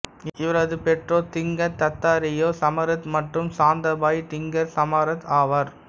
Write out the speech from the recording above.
இவரது பெற்றோர் திங்கர் தத்தாத்ரேயா சமரத் மற்றும் சாந்தபாய் டிங்கர் சமார்ட் ஆவார்